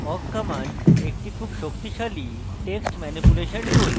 awk command একটি খুব শক্তিশালী text ম্যানিপুলেশন tool